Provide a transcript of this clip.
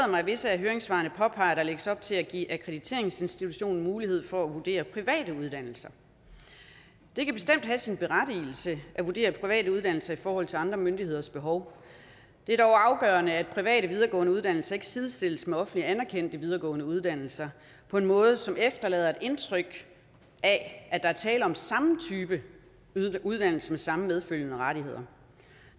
mig at visse af høringssvarene påpeger at der lægges op til at give akkrediteringsinstitutionen mulighed for at vurdere private uddannelser det kan bestemt have sin berettigelse at vurdere private uddannelser i forhold til andre myndigheders behov det er dog afgørende at private videregående uddannelser ikke sidestilles med offentligt anerkendte videregående uddannelser på en måde som efterlader et indtryk af at der er tale om samme type uddannelse med samme medfølgende rettigheder